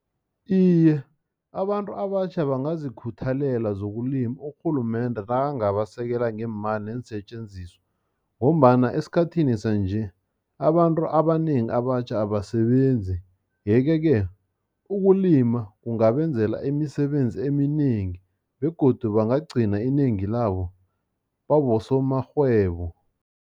Iye, abantu abatjha bangazikhuthalela zokulima urhulumende nakangabasekela ngeemali neensetjenziswa, ngombana esikhathini sanje, abantu abanengi abatjha abasebenzi. Yeke-ke, ukulima kungabenzela imisebenzi eminengi, begodu bangagcina inengi labo babosomarhwebo.